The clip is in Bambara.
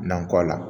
Nankɔ la